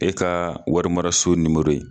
E ka warimaraso ye.